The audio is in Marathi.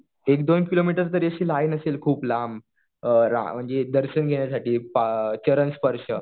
एक दोन एक किलोमीटर तरी लाईन असेल खूप लांब. म्हणजे दर्शन घेण्यासाठी चरणस्पर्श.